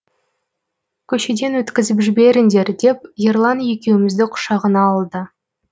көшеден өткізіп жіберіңдер деп ерлан екеумізді құшағына алды